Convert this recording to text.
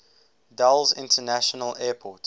dulles international airport